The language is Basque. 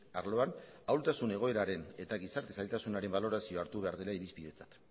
arloan ahultasun egoeraren eta gizarte zailtasunaren balorazioa hartu behar dela irizpidetzat